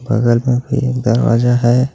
बगल में भी एक दरवाजा है।